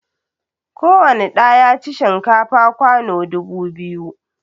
Kowani ɗa ya ci shinkafa kwano dubu biyu